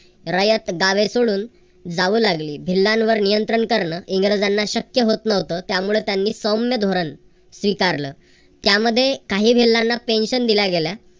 रयत गावे सोडून जावू लागली भिल्लांवर नियंत्रण करणे इंग्रजांना शक्य होत नव्हतं त्यामुळे त्यांनी सौम्य धोरण स्वीकारलं. त्यामध्ये काही भिल्लांना pension दिल्या गेल्या.